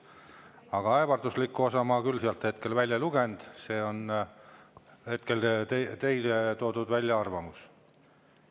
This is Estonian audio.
Aga ähvardust ma sealt küll hetkel välja ei lugenud, see on teie välja toodud arvamus.